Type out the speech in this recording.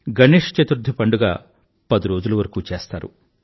గణేశ చతుర్థి పండుగ పదిరోజుల వరకూ చేస్తారు